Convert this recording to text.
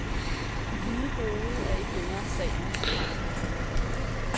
De hvide brude er ikke længere sagen i de franske modehuse.